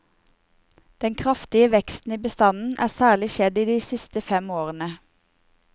Den kraftige veksten i bestanden er særlig skjedd de siste fem årene.